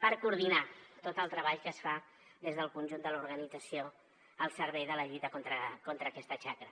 per coordinar tot el treball que es fa des del conjunt de l’organització al servei de la lluita contra aquesta xacra